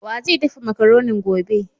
Wa zai daffa macaronin gobe?